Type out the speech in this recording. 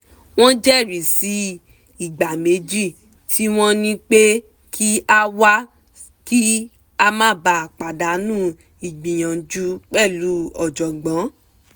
wọ́n jẹ́ri sí ìgbà méjì tí wọ́n ní pé kí a wá kí a má ba pàdánù ìgbaniníyànjú pẹ̀lú ọ̀jọ̀gbọ́n